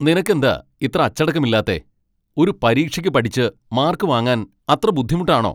നിനക്ക് എന്താ ഇത്ര അച്ചടക്കമില്ലാത്തേ? ഒരു പരീക്ഷയ്ക്ക് പഠിച്ച് മാർക്ക് വാങ്ങാൻ അത്ര ബുദ്ധിമുട്ടാണോ?